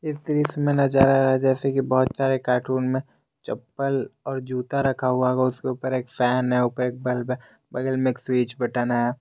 दृश्य में नजर आ रहा है जैसे की बहोत सारे कार्टून में चप्पल और जूता रखा हुआ होगा उसके ऊपर एक फैन है बल्ब है बगल में एक स्विच बटन है।